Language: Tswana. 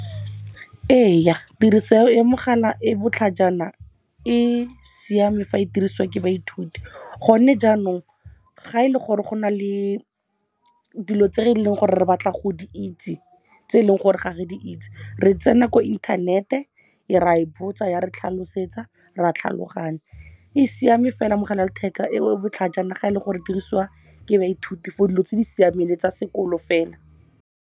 Ee, tiriso ya e mogala e botlhajana e siame fa e dirisiwa ke baithuti. Go ne jaanong ga e le gore go na le dilo tse re leng gore re batla go di itse tse e leng gore ga re di itse, re tsena ko inthanete, e ra e botsa ya re tlhalosetsa, ra tlhaloganya. E siame fela mogala wa letheka e botlhajana ga e le gore dirisiwa ke baithuti for dilo tse di siameng le tsa sekolo fela.